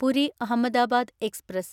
Puri Ahmedabad express